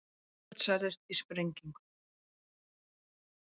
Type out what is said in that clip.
Þrjú börn særðust í sprengingu